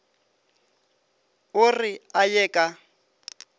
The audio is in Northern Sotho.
o re a ye ka